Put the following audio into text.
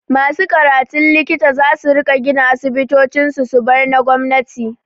Masu karatun likita zasu riƙa gina asibitocin su, su bar na gwamnati.